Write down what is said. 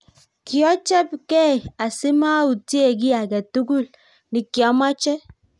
Kiochebekei asimautie kiy aketukul nikiamoche